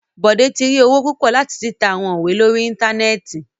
Bode ti ri owo pupọ lati tita awọn iwe lori íńtánẹ́ẹ̀tì